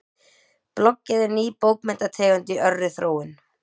Bloggið er ný bókmenntategund í örri þróun.